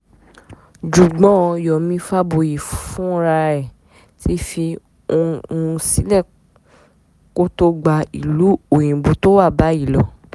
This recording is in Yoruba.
jugbọ́n yomi faboyì fúnra ẹ̀ ti fi ohùn sílẹ̀ kó tóó gba ìlú òyìnbó tó wà báyìí lọ